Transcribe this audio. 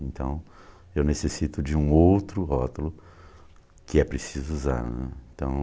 Então, eu necessito de um outro rótulo que é preciso usar, né. Então